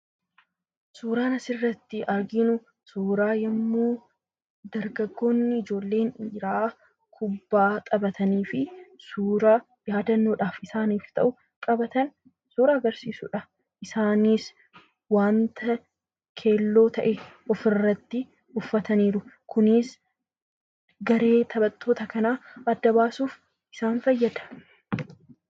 Suuraan asirratti arginu suuraa yemmuu dargaggoonni ijoolleen dhiira kuphaa tsphaatanii fi suuraa yaadannoodhaf isaaniif ta'u suuraa agarsiisuudha. isaaniis wanta keelloo ta'e of-irratti uffatani jiru. Kunis garee taphaattoota kana adda baasuuf isaan fayyada.